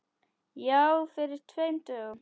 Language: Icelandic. Já, fyrir tveim dögum.